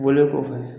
Bɔlen kɔfɛ